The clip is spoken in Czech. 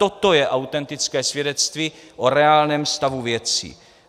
Toto je autentické svědectví o reálném stavu věcí.